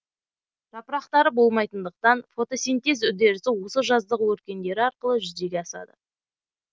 жапырақтары болмайтындықтан фотосинтез үдерісі осы жаздық өркендері арқылы жүзеге асады